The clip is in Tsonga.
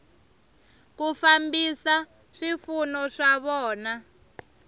ku fambisa swipfuno swa vona